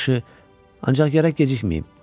Yaxşı, ancaq gərək gecikməyim.